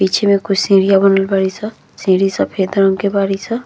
पीछे में कुछ सीढ़िया बनल बाड़ी स। सीढ़ी सफेद रंग के बारी स।